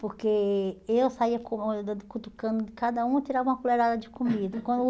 Porque eu saía cutucando cada um e tirava uma colherada de comida. Quando